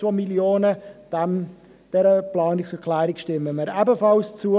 Dieser Planungserklärung stimmen wir ebenfalls zu.